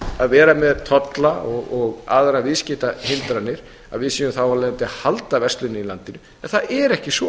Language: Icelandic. að vera með tolla og aðrar viðskiptahindranir að við séum þá að halda versluninni í landinu en það er ekki svo